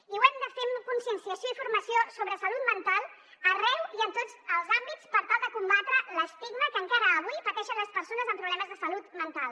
i ho hem de fer amb conscienciació i formació sobre salut mental arreu i en tots els àmbits per tal de combatre l’estigma que encara avui pateixen les persones amb problemes de salut mental